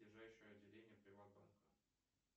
ближайшее отделение приват банка